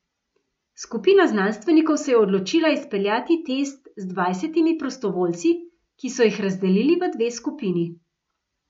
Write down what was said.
Skupina znanstvenikov se je odločila izpeljati test z dvajsetimi prostovoljci, ki so jih razdelili v dve skupini.